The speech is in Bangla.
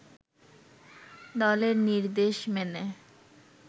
দলের নির্দেশ মেনে